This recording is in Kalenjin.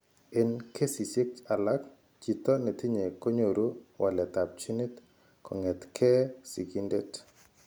Eng' kesishek alak, chito netinye konyoru waletab ginit kong'etke sigindet.